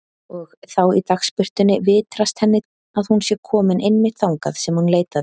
Og þá í dagsbirtunni vitrast henni að hún sé komin einmitt þangað sem hún leitaði.